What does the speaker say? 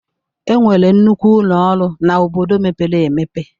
Enwere nnukwu ụlọ ọrụ na obodo mepere emepe